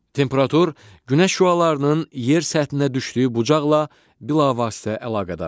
Temperatur Günəş şüalarının yer səthinə düşdüyü bucaqla bilavasitə əlaqədardır.